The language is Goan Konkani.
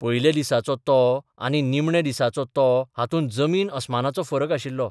पयल्या दिसाचो तो आनी निमण्या दिसाचो तो हातूंत जमीन अस्मानाचो फरक आशिल्लो.